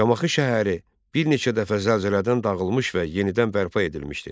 Şamaxı şəhəri bir neçə dəfə zəlzələdən dağılmış və yenidən bərpa edilmişdi.